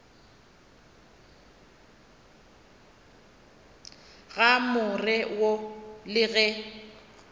ga more wo le ge